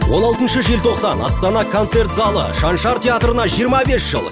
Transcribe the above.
он алтыншы желтоқсан астана концерт залы шаншар театрына жиырма бес жыл